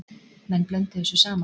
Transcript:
Menn blönduðu þessu saman.